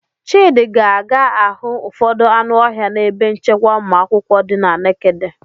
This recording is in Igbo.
Chidi ga-aga ahụ ụfọdụ anụ ọhịa n'ebe nchekwa ụmụakwụkwọ dị na' Nekede.